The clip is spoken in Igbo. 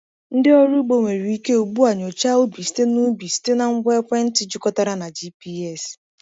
Ndị ọrụ ugbo nwere ike ugbu a nyochaa ubi site na ubi site na ngwa ekwentị jikọtara na GPS.